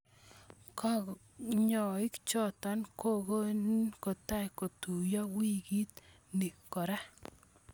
Kanyoik choto kokogeni kotai kotuyo wikit ni kora.